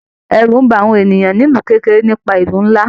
Ẹrú n bá àwọn ènìyàn nílu kekere nípa ìlú nlá.